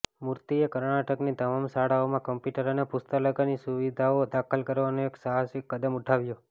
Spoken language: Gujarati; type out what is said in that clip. મૂર્તિએ કર્ણાટકની તમામ શાળાઓમાં કમ્પ્યુટર અને પુસ્તકાલયની સુવિધાઓ દાખલ કરવાનું એક સાહસિક કદમ ઉઠાવ્યું